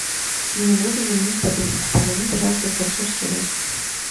мне нужно заменить подушку позвони пожалуйста в консьерж сервис